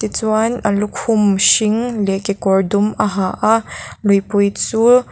tichuan a lukhum hring leh kekawr dum a ha a luipui chu--